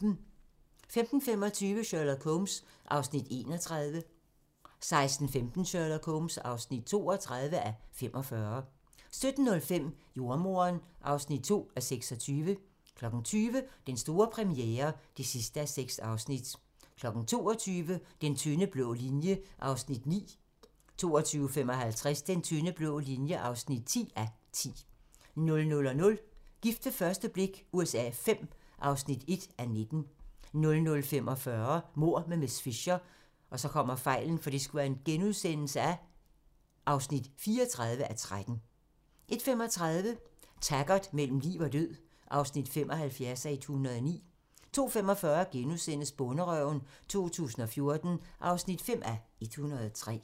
15:25: Sherlock Holmes (31:45) 16:15: Sherlock Holmes (32:45) 17:05: Jordemoderen (2:26) 20:00: Den store premiere (6:6) 22:00: Den tynde blå linje (9:10) 22:55: Den tynde blå linje (10:10) 00:00: Gift ved første blik USA V (1:19) 00:45: Mord med miss Fisher (34:13)* 01:35: Taggart: Mellem liv og død (75:109) 02:45: Bonderøven 2014 (5:103)*